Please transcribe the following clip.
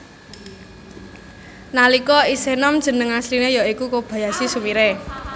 Nalika isih nom jeneng asline ya iku Kobayashi Sumire